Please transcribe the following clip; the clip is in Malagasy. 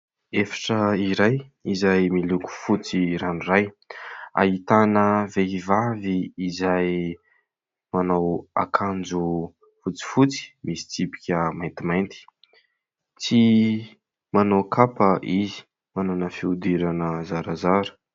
Efitra iray izay miloko fotsy ranoray. Ahitana vehivavy izay manao akanjo fotsifotsy, misy tsipika maintimainty, tsy manao kapa izy, manana fihodirana zarazara.